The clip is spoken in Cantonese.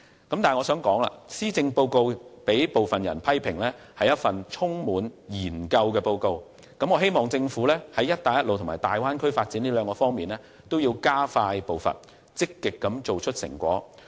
不過，我想指出，施政報告被一些人批評為充滿研究的報告，所以我希望政府會在"一帶一路"和大灣區發展兩方面加快步伐，積極做出成果。